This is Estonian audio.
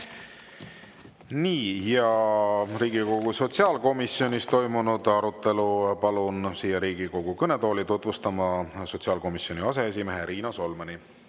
Riigikogu sotsiaalkomisjonis toimunud arutelu palun siia Riigikogu kõnetooli tutvustama sotsiaalkomisjoni aseesimehe Riina Solmani.